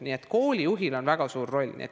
Nii et koolijuhil on väga suur roll.